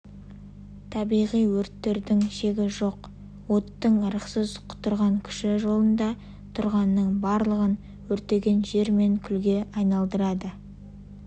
табиғи өрттердің шегі жоқ оттың ырықсыз құтырған күші жолында тұрғанның барлығын өртенген жер мен күлге айналдырады